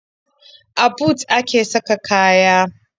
A but a ke saka kaya.